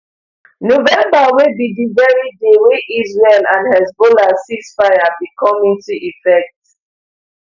november wey be di very day wey israel and hezbollah ceasefire bin come into effect